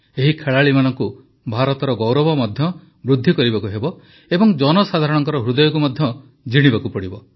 ଏହି ଖେଳାଳିମାନଙ୍କୁ ଭାରତର ଗୌରବ ମଧ୍ୟ ବୃଦ୍ଧି କରିବାକୁ ହେବ ଏବଂ ଜନସାଧାରଣଙ୍କ ହୃଦୟକୁ ମଧ୍ୟ ଜିଣିବାକୁ ହେବ